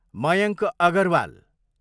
Mayank Agarwal